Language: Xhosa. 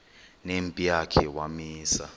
nempi yakhe wamisa